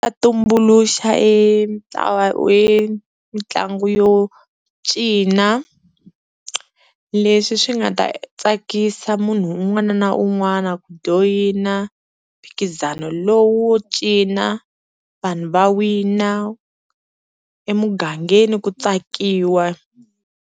A tumbuluxa e mitlangu yo cina leswi swi nga ta tsakisa munhu un'wana na un'wana ku joyina mphikizano lowu wo cina vanhu va wina emugangeni ku tsakiwa.